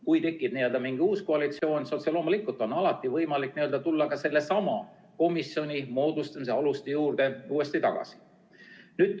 Kui tekib mingi uus koalitsioon, siis otse loomulikult on alati võimalik tulla ka sellesama komisjoni moodustamise aluste juurde uuesti tagasi.